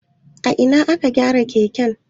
A ina aka gyara keken?